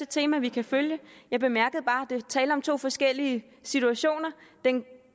tema vi kan følge jeg bemærkede bare at var tale om to forskellige situationer